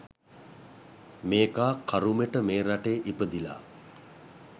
මේකා කරුමෙට මේ රටේ ඉපදිලා